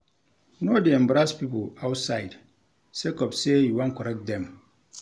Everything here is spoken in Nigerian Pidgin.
No dey embarrass pipo outside sake of sey you wan correct dem.